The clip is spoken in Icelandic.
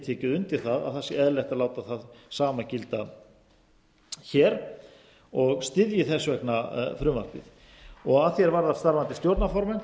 tekið undir það að eðlilegt sé að láta hið sama gilda hér og styðji þessa vegna frumvarpið að því er varðar starfandi stjórnarformenn